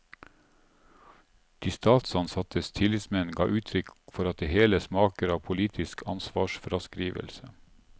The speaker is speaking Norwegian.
De statsansattes tillitsmenn ga uttrykk for at det hele smaker av politisk ansvarsfraskrivelse.